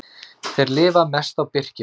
Þeir lifa mest á birkifræi.